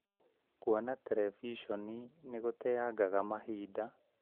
Kũona terebiconi nĩ gũteangaga mahinda